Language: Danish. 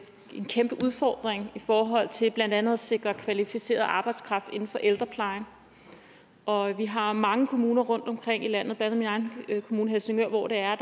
en kæmpe udfordring i forhold til blandt andet at sikre kvalificeret arbejdskraft inden for ældreplejen og vi har mange kommuner rundtomkring i landet blandt andet min egen kommune helsingør hvor der er